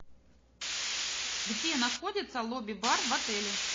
где находится лобби бар в отеле